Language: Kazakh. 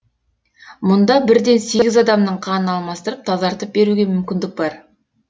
мұнда бірден сегіз адамның қанын алмастырып тазартып беруге мүмкіндік бар